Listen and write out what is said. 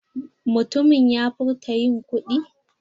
Mutumin ya furta yin kuɗi?